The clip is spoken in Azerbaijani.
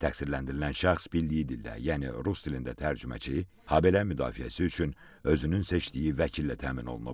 Təqsirləndirilən şəxs bildiyi dildə, yəni rus dilində tərcüməçi, habelə müdafiəsi üçün özünün seçdiyi vəkillə təmin olunub.